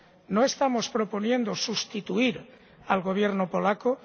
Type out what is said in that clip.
No estamos proponiendo sustituir al Gobierno polaco.